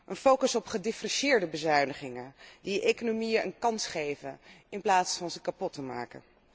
Een focus op gedifferentieerde bezuinigingen, die economieën een kans geven in plaats van ze kapot te maken.